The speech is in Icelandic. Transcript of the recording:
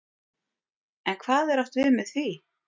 En hvað er átt við með því?